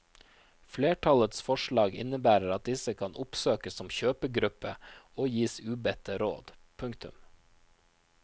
Flertallets forslag innebærer at disse kan oppsøkes som kjøpegruppe og gis ubedte råd. punktum